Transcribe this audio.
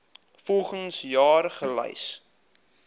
volgens jaar gelys